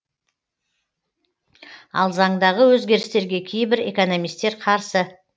ал заңдағы өзгерістерге кейбір экономистер қарсы